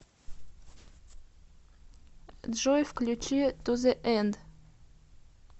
джой включи ту зе энд